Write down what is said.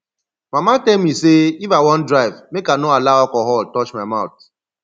mama tell me say if i wan drive make i no allow alcohol touch my mouth